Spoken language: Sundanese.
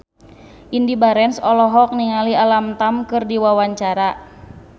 Indy Barens olohok ningali Alam Tam keur diwawancara